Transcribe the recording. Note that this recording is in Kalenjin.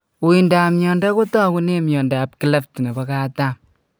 Uindap miondo kotagugen miondap cleft nepo katam.